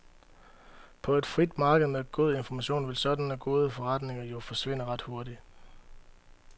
På et frit marked med god information vil sådanne gode forretninger jo forsvinde ret hurtigt.